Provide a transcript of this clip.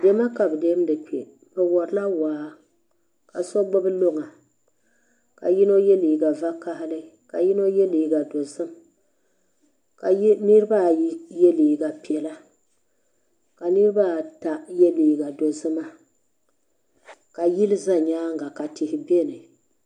Dɛma ka be dɛmdi kpe be wari la waa ka so gbubi luŋa ka yino ye liiga vakahili ka yino ye liiga dozim ka niriba ayi ye liiga piɛlla ka niriba ata ye liiga dozima ka yili za nyaanga ka tihi bɛni.